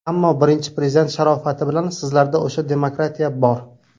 Ammo Birinchi Prezident sharofati bilan sizlarda o‘sha ‘demokratiya’ bor.